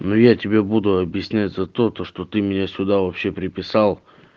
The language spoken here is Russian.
ну я тебе буду объяснять за то то что ты меня сюда вообще приписал